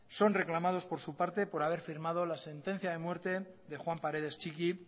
son reclamados por su parte por haber firmado la sentencia de muerte de juan paredes txiki